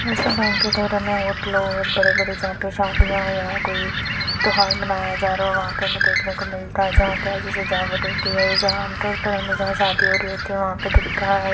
ऐसे बैंक्वेट होटलो और बड़े-बड़े जहाँ पे शादियां है या कोई त्योहार मनाया जा रहा है वहां हमको देखने को मिलता है जहां ऐसी सजावट होती है जहां आमतौर पे हमें जहां शादी हो रही होती है वहां पे दिखता है।